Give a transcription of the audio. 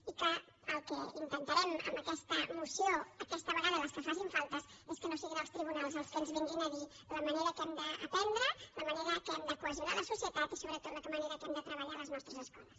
i que el que intentarem amb aquesta moció aquesta vegada i les que faltin falta és que no siguin els tribunals els que ens vinguin a dir la manera en què hem d’aprendre la manera en què hem de cohesionar la societat i sobretot la manera en què hem de treballar a les nostres escoles